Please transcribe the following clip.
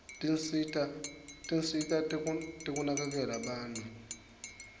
tinsita tekunakekela bantfu